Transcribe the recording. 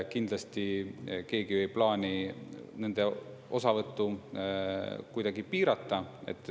Kindlasti keegi ei plaani nende osavõttu kuidagi piirata.